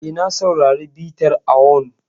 E, na saurari bitar awon.